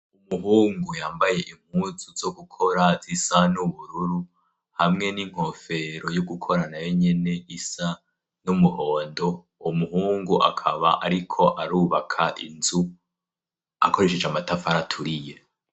umuhungu yambaye impuzu zo gukora zisa n'ubururu hamwe n'inkofero yo gukorana yo nyene isa n'umuhondo umuhungu akaba ariko arubaka inzu akoresheje amatafari aturiye